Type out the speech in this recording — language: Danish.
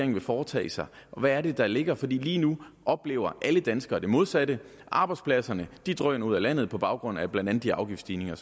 vil foretage sig og hvad er det der ligger for lige nu oplever alle danskere det modsatte arbejdspladserne drøner ud af landet på baggrund af blandt andet de afgiftsstigninger